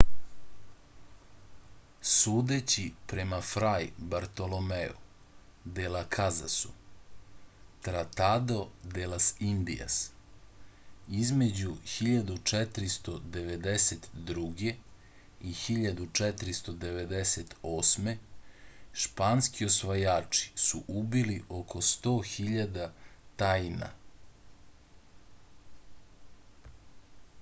судећи према фрај бартоломеју де лас казасу tratado de las indias” између 1492. и 1498. шпански освајачи су убили око 100.000 таина